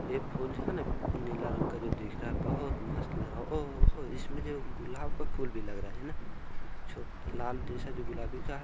एक फूल जो हे ना नीला रंग का जो दिख रहा है बहुत मस्त लग रहा है ओहो हो इसमे गुलाब का फूल भी लग रहा है ना और लाल जेसा जो गुलाबी का--